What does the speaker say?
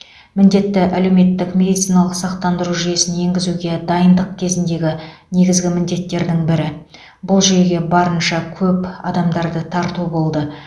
міндетті әлеуметтік медициналық сақтандыру жүйесін енгізуге дайындық кезіндегі негізгі міндеттердің бірі бұл жүйеге барынша көп адамдарды тарту болды